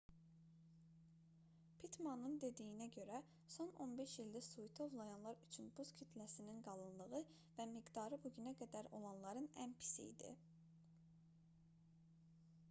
pittmanın dediyinə görə son 15 ildə suiti ovlayanlar üçün buz kütləsinin qalınlığı və miqdarı bu günə qədər olanların ən pisi idi